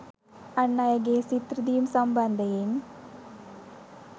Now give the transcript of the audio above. අන් අයගේ සිත් රිදීම් සම්බන්ධයෙන්